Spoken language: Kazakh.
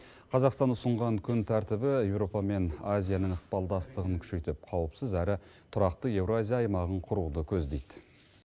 қазақстан ұсынған күн тәртібі еуропа мен азияның ықпалдастығын күшейтіп қауіпсіз әрі тұрақты еуразия аймағын құруды көздейді